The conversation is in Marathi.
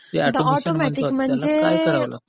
ऑटोमॅटिक म्हणजे